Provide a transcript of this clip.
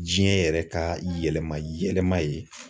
Diɲɛ yɛrɛ ka yɛlɛma yɛlɛma ye